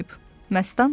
Məstan dedi.